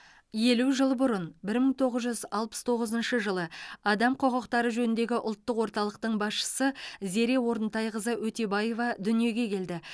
елу жыл бұрын бір мың тоғыз жүз алпыс тоғызыншы жылы адам құқықтары жөніндегі ұлттық орталықтың басшысы зере орынтайқызы өтебаева дүниеге келді